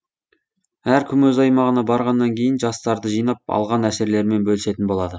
әркім өз аймағына барғаннан кейін жастарды жинап алған әсерлерімен бөлісетін болады